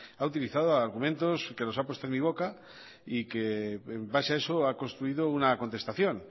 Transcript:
ha utilizado argumentos que los ha puesto en mi boca y que en base a eso ha construido una contestación